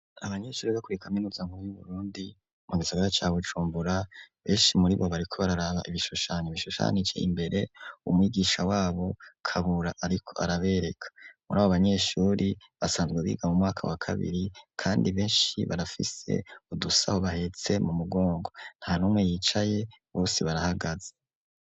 Abanyeshuri bo kuri kaminuza yu Burundi mu gisagara ca Bujumbura, benshi muri bo bariko bararaba ibishushanyo bishushanije imbere umwigisha wabo Kabura ariko arabereka, muri abo banyeshuri basanzwe biga mu mwaka wa kabiri, kandi benshi barafise udusaho bahetse m'umugongo nta numwe yicaye bose barahagaze.